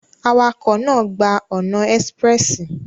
Awakọ naa gba ọna espressi